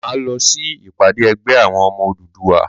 Máa lọ sí ìpàdé ẹgbẹ́ àwọn ọmọ Odùduwà.